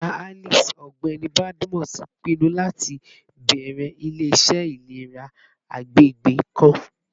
Baba Alice, Ọgbẹni Badmus, pinnu lati bẹrẹ ile-iṣẹ ilera agbegbe kan